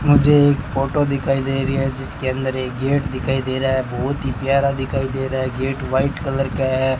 मुझे एक फोटो दिखाई दे रही है जिसके अंदर एक गेट दिखाई दे रहा है बहुत ही प्यारा दिखाई दे रहा है गेट व्हाइट कलर का है।